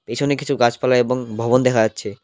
পিছনে কিছু গাছপালা এবং ভবন দেখা যাচ্ছে।